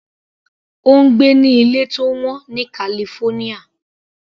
Ó ń gbé ní ilé tó wọ́n ní California.